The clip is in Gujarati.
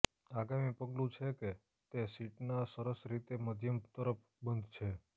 આગામી પગલું છે કે તે શીટ ના સરસ રીતે મધ્યમ તરફ બંધ છે